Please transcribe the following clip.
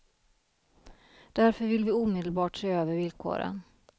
Därför vill vi omedelbart se över villkoren.